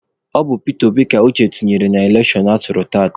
Ọ bụ Pita Obi ka Uche tụnyere na elekshọn atụrụ tata.